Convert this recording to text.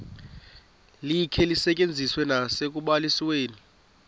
likhe lisetyenziswe nasekubalisweni